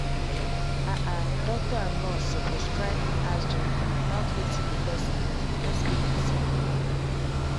ah ah doctor and nurse suppose try ask gently about wetin the person need for their spirit side.